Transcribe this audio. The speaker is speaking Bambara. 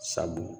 Sabu